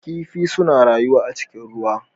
Kifi suna rayuwa a cikin ruwa.